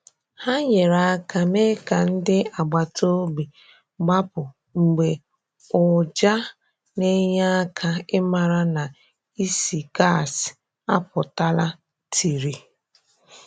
Hà nyere aka mee ka ndị agbata obi gbapụ̀ mgbe ụjà na enye aka i mara na ísì gas apụtala tiri.